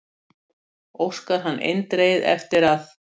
Óskar hann eindregið eftir að